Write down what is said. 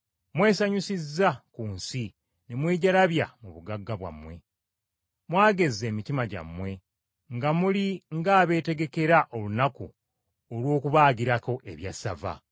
Mwesanyusiza ku nsi ne mwejalabya mu bugagga bwammwe. Mwagezza emitima gyammwe nga muli ng’abeetegekera olunaku olw’okubaagirako ebyassava.